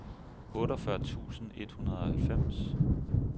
otteogfyrre tusind et hundrede og halvfems